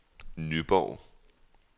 Nyborg